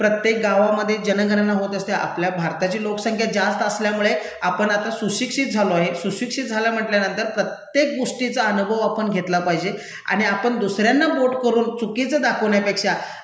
प्रत्येक गावामध्ये जणगणना होत असते, आपल्या भारताची लोकसंख्या जास्त असल्यामुळे आपण आता सुशिक्षित झालो आहे, सुशिक्षित झालं म्हंटल्यानंतर प्रत्येक गोष्टीचा अनुभव आपण घेतला पाहिजे आणि आपण दुसऱ्यांना बोट करून चुकीचं दाखवण्यापेक्षा